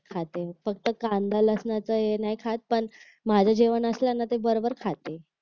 खाते फक्त कांदा लसणाचा हे नाही खात पण माझं जेवण असलं ना कि बरोबर खाते